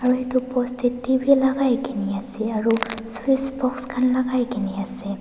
aru etu poster teh bhi lagai ke ni ase aru switchbox khan lagai ke ni ase.